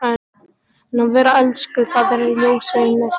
En að vera elskuð það er ljósið í myrkrinu!